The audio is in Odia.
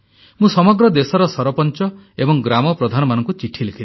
ମୁଁ ସମଗ୍ର ଦେଶର ସରପଞ୍ଚ ଏବଂ ଗ୍ରାମ ପ୍ରଧାନମାନଙ୍କୁ ଚିଠି ଲେଖିଲି